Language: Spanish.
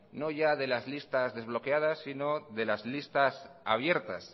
no ya de las listas desbloqueadas sino de las listas abiertas